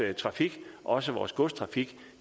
trafik også vores godstrafik